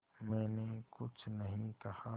मैंने कुछ नहीं कहा